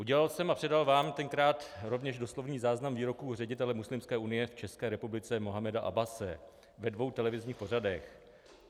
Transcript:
Udělal jsem a předal vám tenkrát rovněž doslovný záznam výroků ředitele Muslimské unie v České republice Mohameda Abbase ve dvou televizních pořadech.